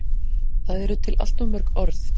Það eru til allt of mörg orð.